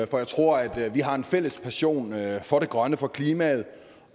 for jeg tror at vi har en fælles passion for det grønne for klimaet